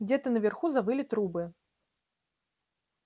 где-то наверху завыли трубы